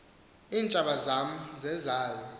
iintjaba zam zezayo